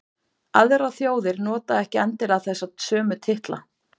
Aðrar þjóðir nota ekki endilega þessa sömu titla.